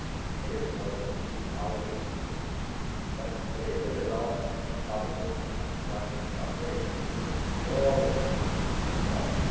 It was only achieved recently but it is the result of positive and constructive cooperation between all the institutions involved.